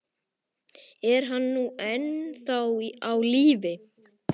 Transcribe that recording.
Er hann nú ennþá á lífi?